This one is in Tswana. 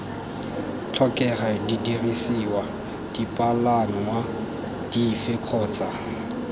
tlhokega didirisiwa dipalangwa dife kgotsa